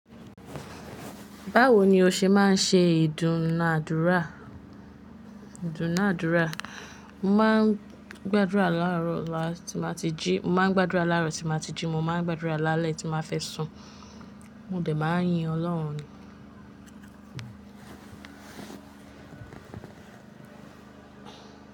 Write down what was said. Báwo ni o ṣe máa ń ṣe ìdúnàádúrà? Mo máa ń gbàdúrà láàárọ̀ tí màá ti jí, mo máa ń gbàdúrà lálẹ́ tí màá fẹ́ sùn. Mo dẹ̀ máa ń yin Ọlọ́run.